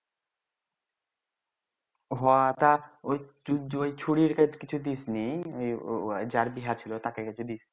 হ তা ওই কিছু দিস নি যার বিহা ছিল তাকে কাছে